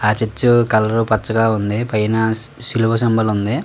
ఆ church colour పచ్చగా ఉంది పైన్ శిలువ సింబల్ ఉంది.